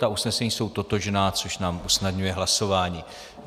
Ta usnesení jsou totožná, což nám usnadňuje hlasování.